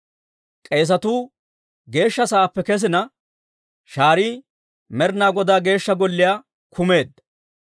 K'eesetuu Geeshsha Sa'aappe kesina, shaarii Med'inaa Godaa Geeshsha Golliyaa kumeedda.